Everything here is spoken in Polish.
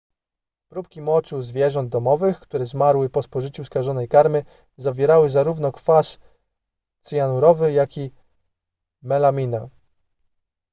próbki moczu zwierząt domowych które zmarły po spożyciu skażonej karmy zawierały zarówno kwas cyjanurowy jak i melaminę